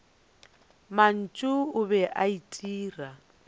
mantši o be a itira